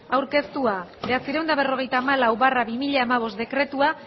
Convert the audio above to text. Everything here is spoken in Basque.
aurkeztua bederatziehun eta berrogeita hamalau barra bi mila hamabost dekretua